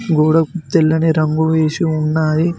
గోడకు తెల్లని రంగు వేసి ఉన్నాయి.